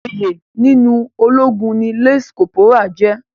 Oyè nínú ológun ni lance corporal jẹ́.